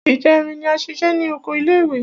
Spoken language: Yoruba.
Ìjẹrin ni a ṣiṣẹ́ ní oko ilé ìwé.